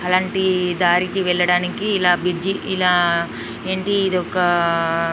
అలంటి దారికి వెళ్ళడానికి ఇలా బ్రిడ్జి ఇలా ఏంటి ఇదొక--